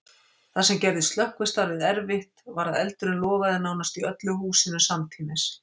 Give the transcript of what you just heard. Það sem gerði slökkvistarfið erfitt var að eldurinn logaði nánast í öllu húsinu samtímis.